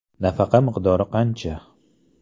Nafaqa miqdori qancha?